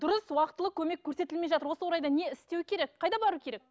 дұрыс уақытылы көмек көрсетілмей жатыр осы орайда не істеу керек қайда бару керек